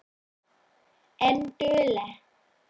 En dugleg.